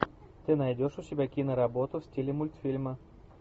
ты найдешь у себя киноработу в стиле мультфильма